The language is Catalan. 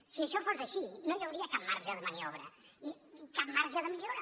si això fos així no hi hauria cap marge de maniobra ni cap marge de millora